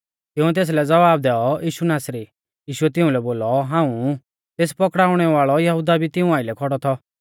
तिंउऐ तेसलै ज़वाब दैऔ यीशु नासरी यीशुऐ तिउंलै बोलौ हाऊं ऊ तेस पकड़ाउणै वाल़ौ यहुदा भी तिऊं आइलै खौड़ौ थौ